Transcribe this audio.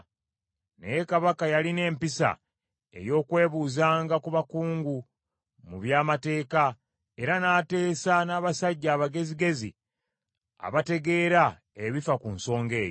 Naye Kabaka yalina empisa ey’okwebuuzanga ku bakugu mu by’amateeka, era n’ateesa n’abasajja abagezigezi abategeera ebifa ku nsonga eyo.